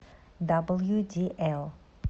даблюдиэл